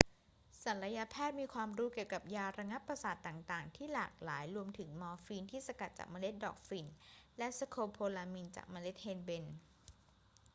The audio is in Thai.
ศัลยแพทย์มีความรู้เกี่ยวกับยาระงับประสาทต่าง ๆ ที่หลากหลาย รวมถึงมอร์ฟีนที่สกัดจากเมล็ดดอกฝิ่น และสโคโพลามีนจากเมล็ดเฮนเบน